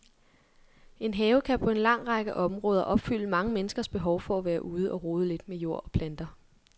En have kan på en lang række områder opfylde mange menneskers behov for at være ude og rode lidt med jord og planter.